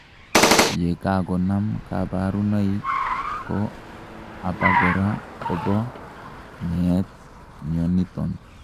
yekakonam kaborunoik, ko abakora kobo meet mioniton